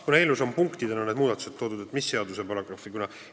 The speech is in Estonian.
Kuna eelnõus on need muudatused punktidena toodud, siis mis paragrahv?